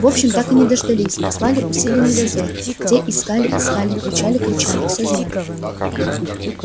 в общем так и не дождались послали усиленный дозор те искали искали кричали кричали всё зря